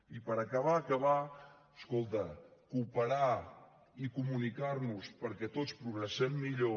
i per acabar acabar escolta cooperar i comunicar nos perquè tots progressem millor